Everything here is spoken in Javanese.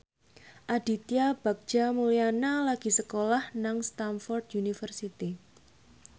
Aditya Bagja Mulyana lagi sekolah nang Stamford University